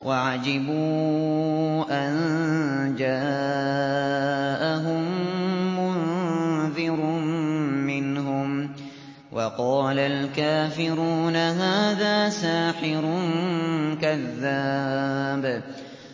وَعَجِبُوا أَن جَاءَهُم مُّنذِرٌ مِّنْهُمْ ۖ وَقَالَ الْكَافِرُونَ هَٰذَا سَاحِرٌ كَذَّابٌ